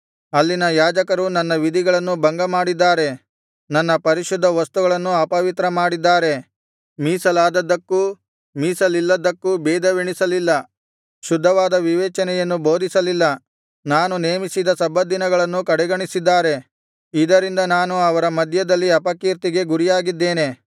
ಅಲ್ಲಿನ ಯಾಜಕರು ನನ್ನ ವಿಧಿಗಳನ್ನು ಭಂಗಮಾಡಿದ್ದಾರೆ ನನ್ನ ಪರಿಶುದ್ಧ ವಸ್ತುಗಳನ್ನು ಅಪವಿತ್ರ ಮಾಡಿದ್ದಾರೆ ಮೀಸಲಾದದ್ದಕ್ಕೂ ಮೀಸಲಿಲ್ಲದ್ದಕ್ಕೂ ಭೇದವೆಣಿಸಲಿಲ್ಲ ಶುದ್ಧವಾದ ವಿವೇಚನೆಯನ್ನು ಬೋಧಿಸಲಿಲ್ಲ ನಾನು ನೇಮಿಸಿದ ಸಬ್ಬತ್ ದಿನಗಳನ್ನು ಕಡೆಗಣಿಸಿದ್ದಾರೆ ಇದರಿಂದ ನಾನು ಅವರ ಮಧ್ಯದಲ್ಲಿ ಅಪಕೀರ್ತಿಗೆ ಗುರಿಯಾಗಿದ್ದೇನೆ